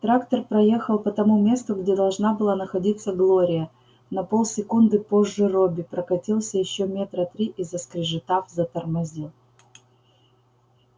трактор проехал по тому месту где должна была находиться глория на полсекунды позже робби прокатился ещё метра три и заскрежетав затормозил